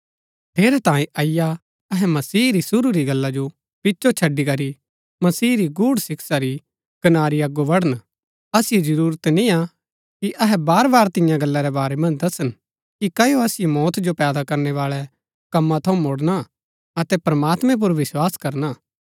ठेरैतांये अईआ अहै मसीह री शुरू री गल्ला जो पिचो छड़ी करी मसीह री गूढ़ शिक्षा री कनारी अगो बढण असिओ जरूरत निय्आ कि अहै बार बार तियां गल्ला रै बारै मन्ज दसन कि क्ओ असिओ मौत जो पैदा करनै बाळै कमा थऊँ मुडना अतै प्रमात्मैं पुर विस्वास करना